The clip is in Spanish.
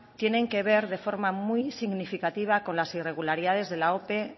tienen que ver de forma muy significativa con las irregularidades de la ope